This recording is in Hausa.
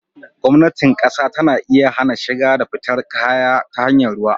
Gwamnatin ƙasa tana iya hana shiga da fitar kaya ta hanyar ruwa.